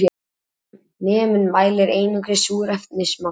Annar neminn mælir einungis súrefnismagn